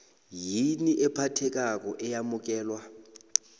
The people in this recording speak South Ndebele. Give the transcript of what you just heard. yini ephathekako eyamukelwa